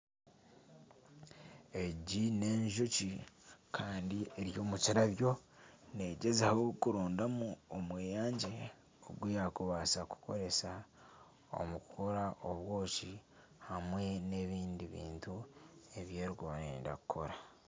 Egi n'enjoki kandi eri omu kirabyo negyezaho kurondamu omweyangye ogu yakubaasa kukozesa omu kukora obwoki hamwe n'ebindi bintu ebyeri kuba neyenda kukora.